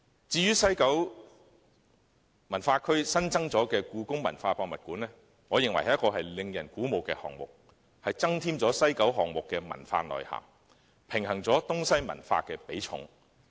至於西九文化區新增的香港故宮文化博物館，我認為是一項令人鼓舞的項目，增添了西九文化區項目的文化內涵，平衡了東西文化的比重。